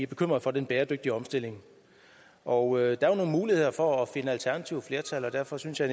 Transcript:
bekymrede for den bæredygtige omstilling og der er jo nogle muligheder for at finde alternative flertal derfor synes jeg